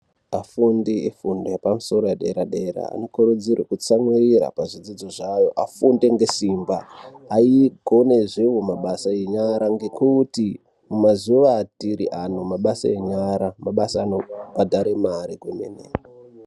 Afundi efundo yepamusoro yedera-dera anokurudzirwe kutsamwirira pazvidzidzo zvavo afunde ngesimba. Angonezvevo mabasa enyara ngekuti mumazuva atiri ano mabasa enyara mabasa anobhadhara mari kwemene.